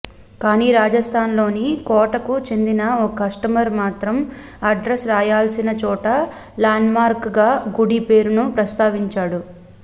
కానీ రాజస్థాన్లోని కోటకు చెందిన ఓ కస్టమర్ మాత్రం అడ్రస్ రాయాల్సిన చోట ల్యాండ్మార్క్గా గుడి పేరును ప్రస్తావించాడు